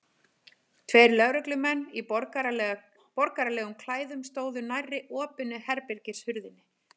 Tveir lögreglumenn í borgaralegum klæðum stóðu nærri opinni herbergishurðinni.